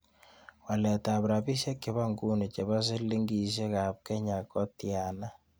Waletab rabisyek che po nguni chebo sihmsilingisiekap kenya ko tiana